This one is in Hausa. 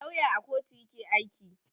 Lauya à kotu yake aiki.